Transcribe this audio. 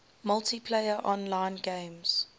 multiplayer online games